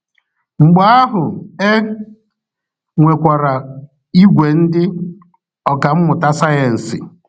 mgbe ahụ e nwekwara ìgwè ndị ọkà mmụta sayensị.